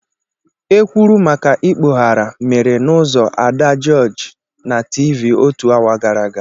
Ekwuru maka ikpoghara mere na uzo Ada Jooji na Tivii otu awa gara aga.